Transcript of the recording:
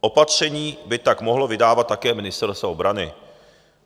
Opatření by tak mohlo vydávat také Ministerstvo obrany.